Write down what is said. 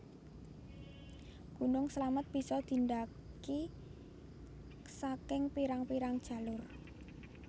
Gunung Slamet bisa didhaki saking pirang pirang jalur